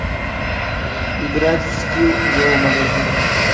играть в скилл зоомагазин